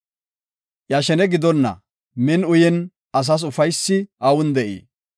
Iya shene gidonna, min uyin asas ufaysi awun de7ii?